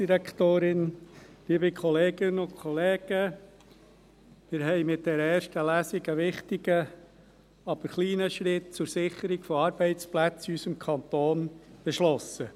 Mit dieser ersten Lesung haben wir einen wichtigen, aber kleinen Schritt zur Sicherung von Arbeitsplätzen in unserem Kanton beschlossen.